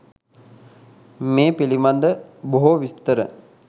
මේ පිළිබඳ බොහෝ විස්තර